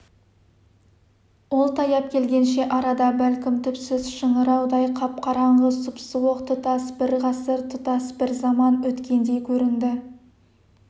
ол таяп келгенше арада бәлкім түпсіз шыңыраудай қап-қараңғы сұп-суық тұтас бір ғасыр тұтас бір заман өткендей көрінді